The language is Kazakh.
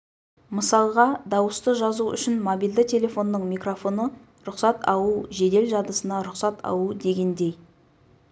мысалға дауысты жазу үшін мобильді телефонның микрофоны рұқсат алу жедел жадысына рұқсат алу дегендей